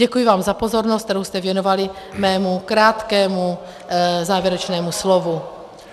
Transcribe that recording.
Děkuji vám za pozornost, kterou jste věnovali mému krátkému závěrečnému slovu.